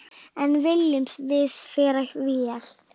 En viljum við vera vél?